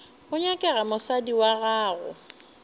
go nyakega mosadi wa gago